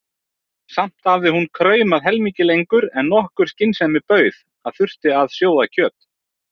Samt hafði hún kraumað helmingi lengur en nokkur skynsemi bauð að þyrfti að sjóða kjöt.